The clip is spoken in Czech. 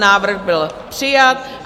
Návrh byl přijat.